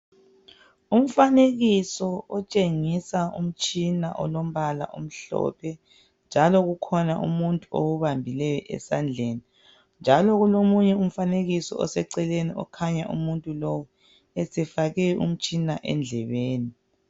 Umfanekiso otshengisa umtshina olombala omhlophe njalo kukhona umuntu owubambileyo esandleni njalo kulomunye umfanekiso oseceleni okhanya umuntu lowu esefake umtshina endlebeni.